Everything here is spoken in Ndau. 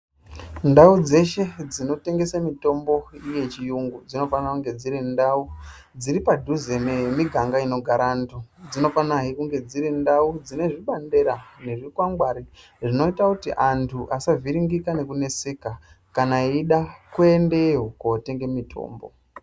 Ndau dzeshe dzinotengese mitombo yechirungu dzinofana kunge dziri ndau dziri padhuze nemiganga inogara antu. Dzinofana kunge dziri ndau dzine zvibandera nezvikwangwari zvinoita kuti antu asavhiringika kana eyida kuendeyo kunotenga mitombo.